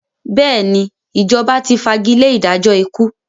Bẹ́ẹ̀ ni, Ìjọba ti fagilé ìdájọ́ ikú.